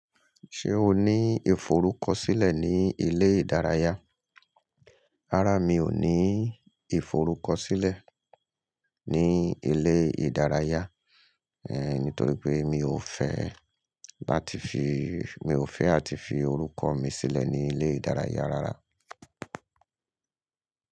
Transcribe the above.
Ṣé o ní ìforúkọsílẹ̀ ní ilé ìdárayá? Rárá, mi ò ní ìforúkọsílẹ̀ ní ilé ìdárayá, nítorí pé mi ò fẹ́ láti fi, mi ò fẹ́ láti fi orúkọ mi sílẹ̀ ní ilé ìdárayá rárá.